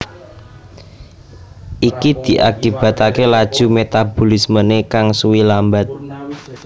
Iki diakibataké laju metabolismené kang suwi lambat